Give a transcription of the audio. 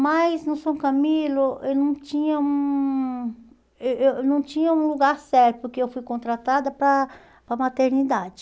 Mas no São Camilo eu não tinha um eh eh eu não tinha lugar certo, porque eu fui contratada para a para a maternidade.